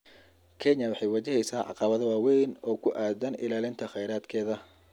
Kenya waxay wajaheysaa caqabado waaweyn oo ku aaddan ilaalinta kheyraadkeeda